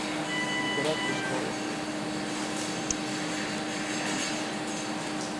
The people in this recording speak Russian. игра престолов